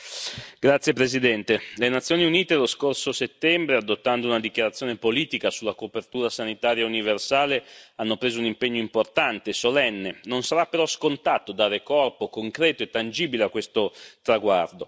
Signor Presidente, onorevoli colleghi, le Nazioni Unite, lo scorso settembre, adottando una dichiarazione politica sulla copertura sanitaria universale, hanno preso un impegno importante, solenne. Non sarà però scontato dare corpo concreto e tangibile a questo traguardo.